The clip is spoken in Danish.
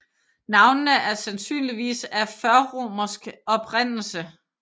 Navnene er sandsynligvis af førromersk oprindelse